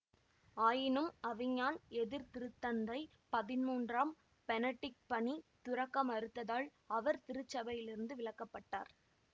ஆயினும் அவிஞான் எதிர்திருத்தந்தை பதின்மூன்றாம் பெனடிக்ட் பணி துறக்க மறுத்ததால் அவர் திருச்சபையிலிருந்து விலக்கப்பட்டார்